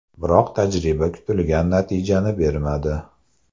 Biroq tajriba kutilgan natijani bermadi.